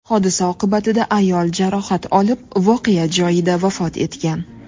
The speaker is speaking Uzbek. Hodisa oqibatida ayol jarohat olib, voqea joyida vafot etgan.